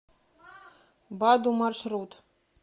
баду маршрут